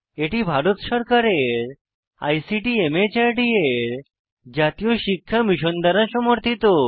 এটি ভারত সরকারের আইসিটি মাহর্দ এর জাতীয় শিক্ষা মিশন দ্বারা সমর্থিত